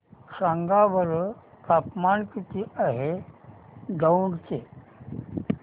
सांगा बरं तापमान किती आहे दौंड चे